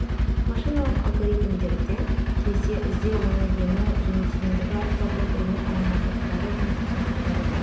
машиналық алгоритмдерде кезде іздеу ені және тереңдігі арқылы бір бірімен айырмашылақтары және ұқсастықтары бар